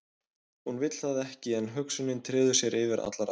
Hún vill það ekki en hugsunin treður sér yfir allar aðrar.